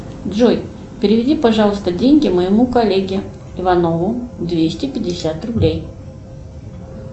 джой переведи пожалуйста деньги моему коллеге иванову двести пятьдесят рублей